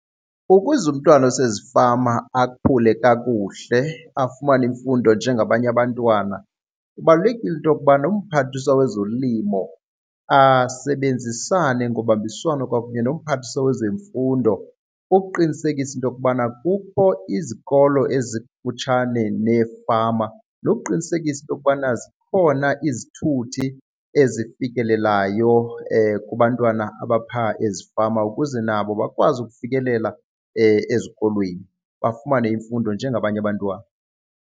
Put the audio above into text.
Ukuze umntwana osezifama akhule kakuhle afumane imfundo njengabanye abantwana, kubalulekile into yokubana uMphathiswa wezoLimo asebenzisane ngobambiswano kwakunye noMphathiswa wezeMfundo ukuqinisekisa into yokubana kukho izikolo ezikufutshane neefama nokuqinisekisa into yokubana zikhona izithuthi ezifikelelayo kubantwana abaphaa ezifama ukuze nabo bakwazi ukufikelela ezikolweni bafumane imfundo njengabanye abantwana.